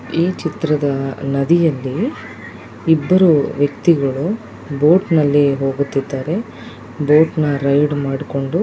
ಈ ಚಿತ್ರದಲ್ಲಿ ನದಿಯಲ್ಲಿ ಇಬ್ಬರು ವ್ಯಕ್ತಿಗಳು ಬೋಟ್ನಲ್ಲಿ ಹೋಗೋತಿದ್ದಾರೆ ಬೋಟ್ನ ರೈಡ್ ಮಾಡ್ಕೊಂಡು.